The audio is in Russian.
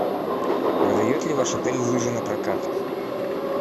выдает ли ваш отель лыжи на прокат